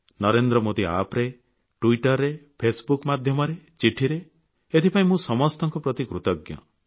Narendra Modi App ରେ Twitter ମାଧ୍ୟମରେ ଚିଠିରେ ଏଥିପାଇଁ ମୁଁ ସମସ୍ତଙ୍କ ପ୍ରତି କୃତଜ୍ଞ